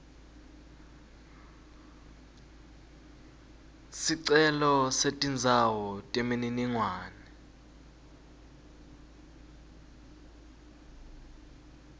sicelo setindzawo temininingwane